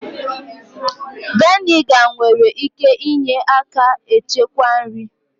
Vị́nịga nwere ike ịnye aka echekwa nri